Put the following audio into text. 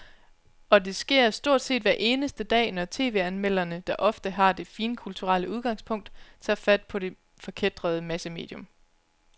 Og det sker stort set hver eneste dag, når tv-anmelderne, der ofte har det finkulturelle udgangspunkt, tager fat på det forkætrede massemedium.